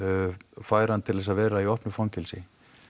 færan til þess að vera í opnu fangelsi